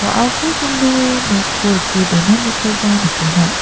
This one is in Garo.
wa·ako songdoe noko rike donanikoba nikenga.